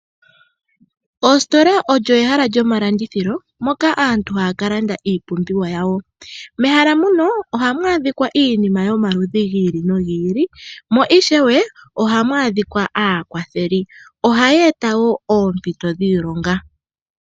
Oositola olyo ehala lyoma landithilo. Moka aantu haya ka landa iipumbiwa yawo. Mehala muno oha mu adhikwa iinima yomaludhi giili nogiili. Mo ishewe ohamu adhika aakwatheli. Oha ye eta wo oompito dhiilonga.